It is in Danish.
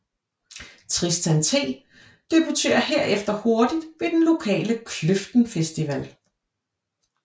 Tristan T debuterer herefter hurtigt ved den lokale Kløften Festival